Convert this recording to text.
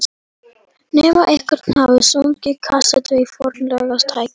Nema einhver hafi stungið kasettu í fornfálegt tækið.